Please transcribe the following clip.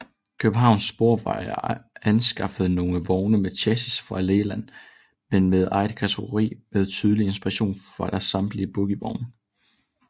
Københavns Sporveje anskaffede nogle vogne med chassis fra Leyland men med eget karosseri med tydelig inspiration fra deres samtidige bogievogne